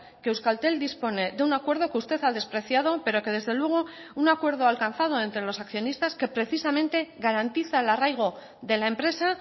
que euskaltel dispone de un acuerdo que usted ha despreciado pero que desde luego un acuerdo alcanzado entre los accionistas que precisamente garantiza el arraigo de la empresa